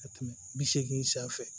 Ka tɛmɛ bi seegin sanfɛ